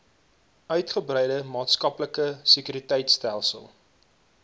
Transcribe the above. uitgebreide maatskaplike sekuriteitstelsel